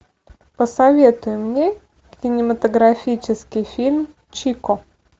посоветуй мне кинематографический фильм чико